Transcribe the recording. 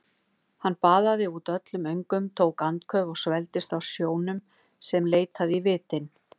Hann baðaði út öllum öngum, tók andköf og svelgdist á sjónum sem leitaði í vitin.